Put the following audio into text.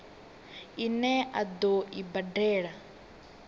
ine a ḓo i badela